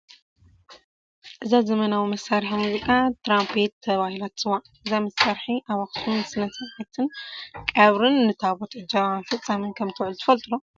እዛ ዘመናዊ መሳርሒ ሙዚቃ ትራምፔት ተባሂላ ትፅዋዕ፡፡ እዛ መሳርሒ ኣብ ኣኽሱም ንስነ ስርዓት ቀብርን ንታቦት ዕጀባ መፈፀምን ከምትውዕል ትፈልጡ ዶ?